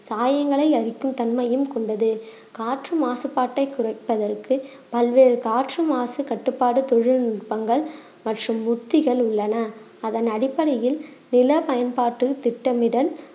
சாயங்கலை அரிப்பு தன்மையும் கொண்டது காற்று மாசுபாட்டை குறைப்பதற்கு பல்வேறு காற்று மாசு கட்டுப்பாடு தொழில்நுட்பங்கள் மற்றும் உத்திகள் உள்ளன அதன் அடிப்படையில் நில பயன்பாட்டில் திட்டமிடல்